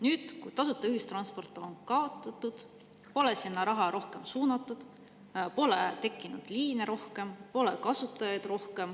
Nüüd, kui tasuta ühistransport on kaotatud, pole sinna raha rohkem suunatud, pole tekkinud rohkem liine, pole rohkem kasutajaid.